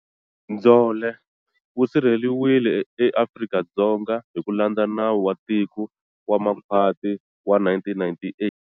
"Ndzhole" wu sirheleriwile, eAfrika-Dzonga, hi ku landza nawu wa tiko wa makhwati wa 1998.